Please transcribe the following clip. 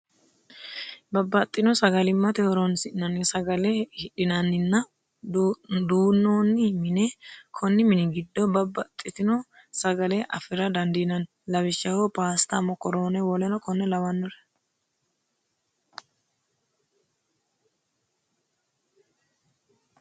Babaxino sagalimate horonsinnanni sagale hidhinanninna duu'noni mine, koni mini gidoonni babaxitino sagale afira dandinanni lawishaho paastta mokoroone woleno kore labinore